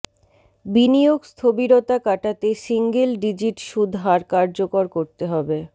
বিনিয়োগ স্থবিরতা কাটাতে সিঙ্গেল ডিজিট সুদ হার কার্যকর করতে হবে